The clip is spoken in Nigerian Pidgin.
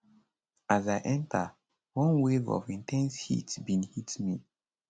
as i enter one wave of in ten se heat bin hit me